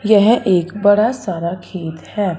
यह एक बड़ा सारा खेत है।